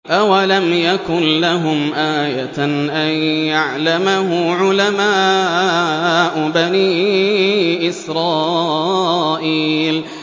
أَوَلَمْ يَكُن لَّهُمْ آيَةً أَن يَعْلَمَهُ عُلَمَاءُ بَنِي إِسْرَائِيلَ